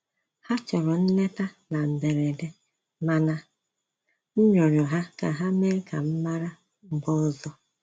Ha chọrọ nleta na mberede, mana m rịọrọ ha ka ha mee ka m mara mgbe ọzọ